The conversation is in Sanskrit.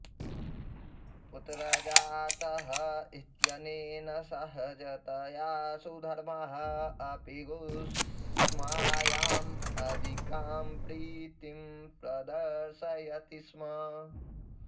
पुत्रः जातः इत्यनेन सहजतया सुधर्मः अपि घुश्मायाम् अधिकां प्रीतिं प्रदर्शयति स्म